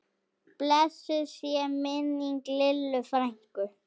Blessuð sé minning Lillu frænku.